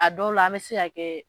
A dɔw la an bɛ se' kɛ